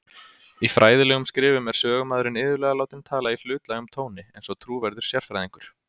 Í fræðilegum skrifum er sögumaðurinn iðulega látinn tala í hlutlægum tóni, eins og trúverðugur sérfræðingur.